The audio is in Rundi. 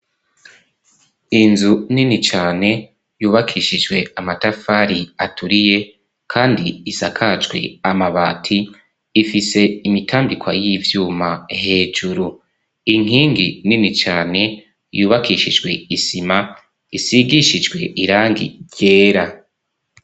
Inzu nini cane yubakishijwe amatafari aturiye kandi isakajwe amabati ifise imitambikwa y'ivyuma hejuru inkingi nini cane yubakishijwe isima isigishijwe irangi ryera.